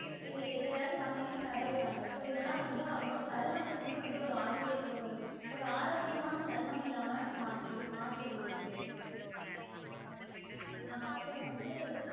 இது அதையாவது வாங்கி வாங்கி தடவுறாங்க so இது எல்லாம் வந்து அவங்களோட சர்மத்துக்குமே வந்து ஒரு ஆறுவே ஒரு ஆரோக்கியமான சர்மம் இல்லாம்மா மாற்றி மாற்றிருது இதுவே ஆஹ் அப்றம் வந்து